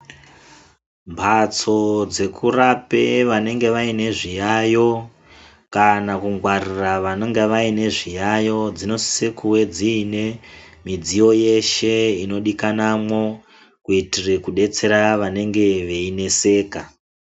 Mbatso dzekurape vanenge vaine zviyayo kana kungwarira vanonga vaine zviyayo dzinotsikuedzine midziyo yeshe inodikanwamwo kuitire kubetsera vanenga veineseka